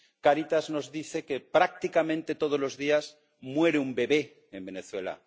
Cáritas nos dice que prácticamente todos los días muere un bebé en Venezuela.